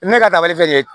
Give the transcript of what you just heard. Ne ka taamalen filɛ nin ye